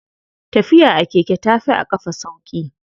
Tafiya a keke tafi a ƙafa sauƙi.